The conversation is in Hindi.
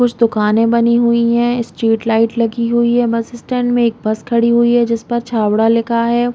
कुछ दुकाने बनी हुई है स्ट्रीट लाइट लगी हुई है बस स्टैंड में एक बस खड़ी हुई है जिस पर छाबड़ा लिखा हैं ।